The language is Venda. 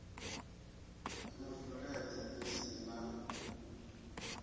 ni vuledze ni si na